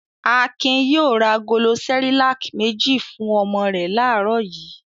Akin yóò ra agolo Cerelac méjì fún ọmọ rẹ̀ láàárọ̀ yìí.